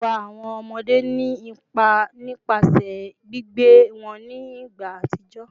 Iwa awọn ọmọde ni ipa nipasẹ gbigbe wọn ni igba atijọ